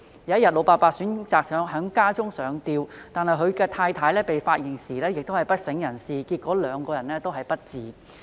有一天，老伯伯選擇在家中上吊，而他的太太被發現時亦已不省人事，最後兩人終告不治。